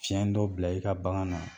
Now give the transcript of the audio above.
Tiɲɛn dɔ bila i ka bagan na